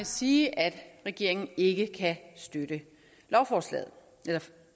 sige at regeringen ikke kan støtte